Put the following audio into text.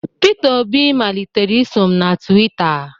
Pita Obi malitere iso m na Twitta.